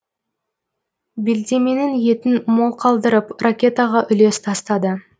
белдеменің етін мол қалдырып ракетаға үлес тастады